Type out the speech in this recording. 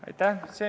Aitäh!